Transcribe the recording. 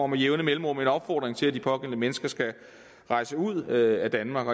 med jævne mellemrum en opfordring til at de pågældende mennesker skal rejse ud af danmark